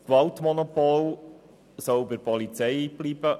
Das Gewaltmonopol soll bei der Polizei bleiben;